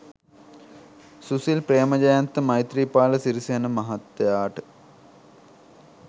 සුසිල් ප්‍රේමජයන්ත මෛත්‍රීපාල සිරිසේන මහත්තයාට